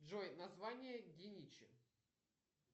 джой название геничи